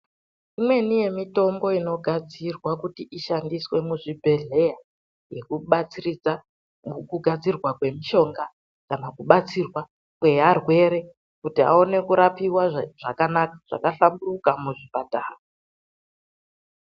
Imweni yemitombo inogadzirwa kuti ishandiswe muzvibhedhleya yekubatsiridza mukugadzirwa kwemishonga kana kubatsirwa kwearwere kuti aone kurapiwa zvakanaka, zvakahlamburuka muzvipatara.